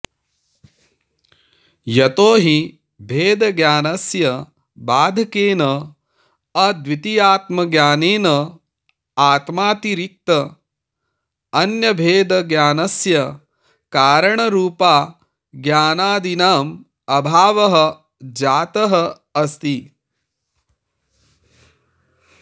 यतो हि भेदज्ञानस्य बाधकेन अद्वितीयात्मज्ञानेन आत्मातिरिक्तान्यभेदज्ञानस्य कारणरूपाज्ञानादीनाम् अभावः जातः अस्ति